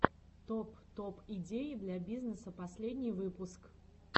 топ топ идеи для бизнеса последний выпуск